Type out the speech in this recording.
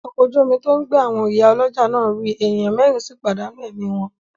Ọkọ̀ ojú omi tí ó ń gbé àwọn ìyá ọlọ́jà náà rì, ènìyàn mẹ́rìn sì pàdánù ẹ̀mí wọn.